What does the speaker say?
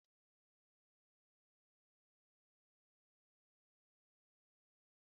Na kichin, mama m gosiri m ka esi esi ofe nkume